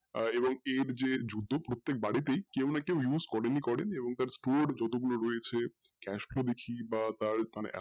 এবং এর যে প্রত্যেকবারে তেই কেউ না কেউ use করেনই করেন এবং তার core যতগুলো রয়েছে বা তার মানে এতোটা,